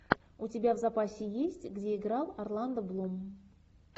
у тебя в запасе есть где играл орландо блум